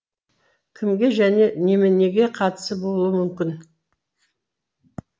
кімге және неменеге қатысы болуы мүмкін